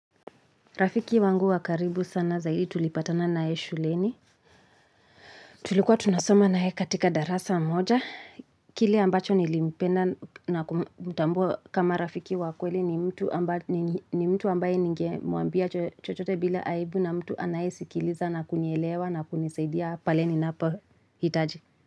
Rafiki wangu wakaribu sana zaidi tulipatana naye shuleni. Tulikuwa tunasoma naee katika darasa moja. Kile ambacho nilimpenda na kumtambua kama rafiki wakweli ni mtu ni mtu ambaye ninge mwambia chochote bila aibu na mtu anayesikiliza na kunielewa na kunisaidia pale ni na po hitaji.